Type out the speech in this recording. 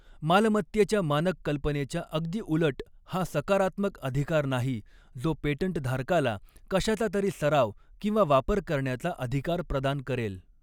मालमत्तेच्या मानक कल्पनेच्या अगदी उलट हा सकारात्मक अधिकार नाही जॊ पेटंट धारकाला कशाचा तरी सराव किंवा वापर करण्याचा अधिकार प्रदान करेल.